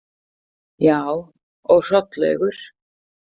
Já, og Hrollaugur.